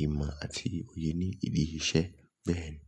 ìmọ̀ àti òye ní ibi iṣẹ́ bẹ́ẹ̀ni.